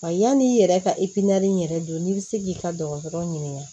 Wa yanni i yɛrɛ ka yɛrɛ don n'i bɛ se k'i ka dɔgɔtɔrɔ ɲininka